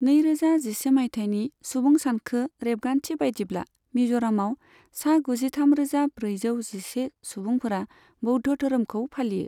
नैरोजा जिसे मायथाइनि सुबुं सानखो रेबगान्थि बायदिब्ला मिज'रामआव सा गुजिथामरोजा ब्रैजौ जिसे सुबुंफोरा बौद्ध धोरोमखौ फालियो।